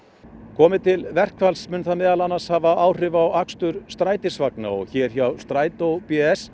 komi til verkfalls mun það meðal annars hafa áhrif á akstur strætisvagna og hér hjá Strætó